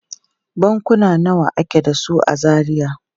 Bankuna nawa ake da su a Zaria?